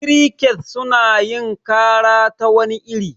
Kirikets suna yin kara ta wani iri.